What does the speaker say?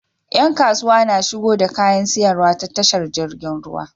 Yan kasuwa na shigo da kayan siyarwa ta tashar jirgin ruwa